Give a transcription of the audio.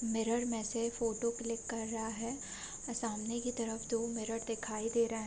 Mirror में से photo click कर रहा है सामने की तरफ दो मिरर दिखाई दे रहे हैं।